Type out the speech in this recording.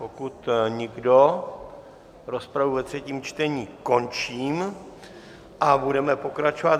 Pokud nikdo, rozpravu ve třetím čtení končím a budeme pokračovat.